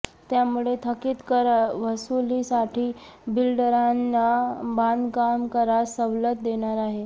त्यामुळे थकीत कर वसूलीसाठी बिल्डरांना बांधकाम करात सवलत देणार आहे